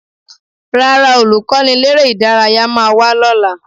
Rárá, Olùkọ́niléré-ìdárayá máa wá lọ́la